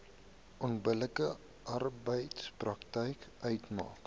onbillike arbeidspraktyk uitmaak